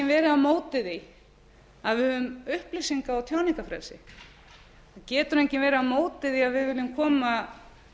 á móti því að höfum upplýsinga ég tjáningarfrelsi það getur enginn verið á móti því að við viljum koma